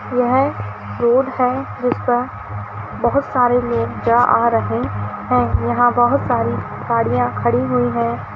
यह रोड है जिसपे बहोत सारे लोग जा आ रहे है यहाँ बहोत सारी गाड़ियां खड़ी हुई है।